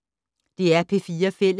DR P4 Fælles